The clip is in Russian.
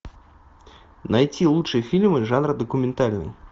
найти лучшие фильмы жанра документальный